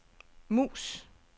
mus